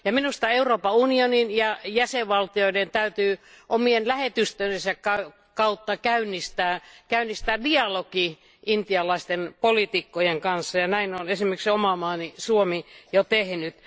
Minusta Euroopan unionin ja jäsenvaltioiden täytyy omien lähetystöjensä kautta käynnistää dialogi intialaisten poliitikkojen kanssa, ja näin on esimerkiksi oma maani Suomi jo tehnyt.